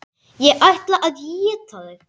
Ég ætla að éta þig.